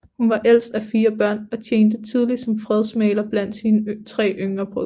Hun var ældst af fire børn og tjente tidligt som fredsmægler blandt sine tre yngre brødre